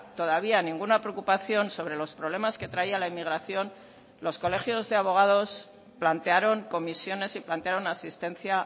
todavía ninguna preocupación sobre los problemas que traía la inmigración los colegios de abogados plantearon comisiones y plantearon asistencia